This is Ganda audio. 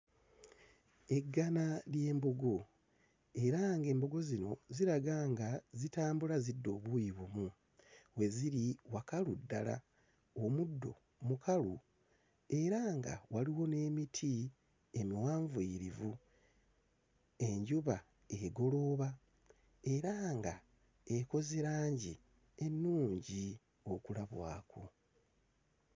Eggana ly'embogo era ng'embogo zino ziraga nga zitambula zidda obuuyi bumu. We ziri wakalu ddala, omuddo mukalu era nga waliwo n'emiti emiwanvuyirivu. Enjuba egolooba era ng'ekoze langi ennungi okulabwako.